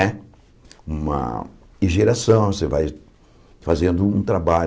Né uma e geração, você vai fazendo um trabalho.